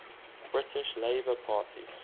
british labour party